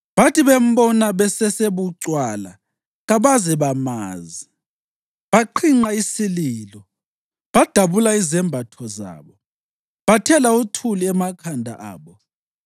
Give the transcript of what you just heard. Bathi bembona besesebucwala kabaze bamazi; baqhinqa isililo, badabula izembatho zabo, bathela uthuli emakhanda abo.